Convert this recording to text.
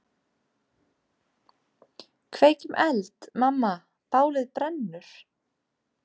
Kveikjum eld, mamma, bálið brennur.